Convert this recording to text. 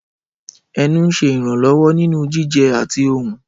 Ẹnu ń ṣe ìrànlọ́wọ́ nínú jíjẹ àti ohùn.